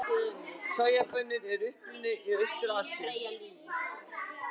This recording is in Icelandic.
Sojabaunir eru upprunnar í Austur-Asíu.